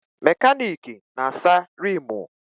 Mekaniki na-asa riimu.